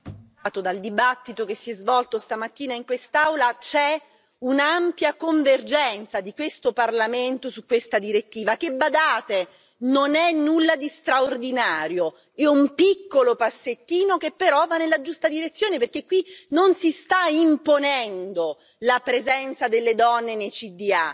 Signor Presidente, onorevoli colleghi, constatiamo dal dibattito che si è svolto stamattina in quest'Aula che c'è un'ampia convergenza di questo Parlamento su questa direttiva che, badate, non è nulla di straordinario è un piccolo passettino che però va nella giusta direzione, perché qui non si sta imponendo la presenza delle donne nei consigli di